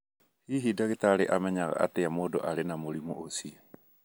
Hihi ndagĩtarĩ amenyaga atĩa mũndũ arĩ na mũrimũ ũcio?